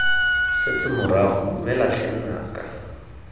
setse morago dumela tlhe nnaka